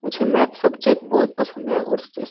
मुझे maths subject बहुत पसंद है और --